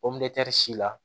si la